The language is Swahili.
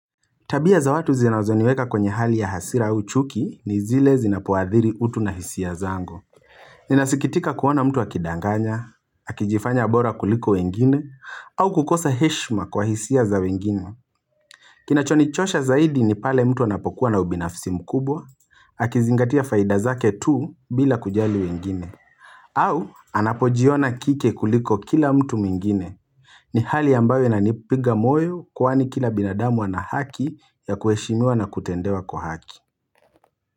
Tabia za watu zinazoniweka kwenye hali ya hasira au chuki ni zile zinapoadhiri utu na hisia zango. Ninasikitika kuona mtu akidanganya, akijifanya bora kuliko wengine, au kukosa heshma kwa hisia za wengine. Kinachonichosha zaidi ni pale mtu anapokuwa na ubinafsi mkubwa, akizingatia faida zake tu bila kujali wengine. Au anapojiona kike kuliko kila mtu mingine. Ni hali ambayo inanipiga moyo kwani kila binadamu anahaki ya kuheshimiwa na kutendewa kwa haki.